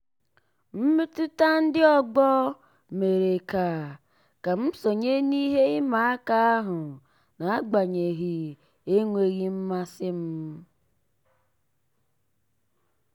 mmetụta ndị ọgbọ mere ka ka m sonye n'ihe ịma aka ahụ n'agbanyeghị enweghị mmasị m.